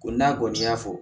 Ko n'a kɔni y'a fɔ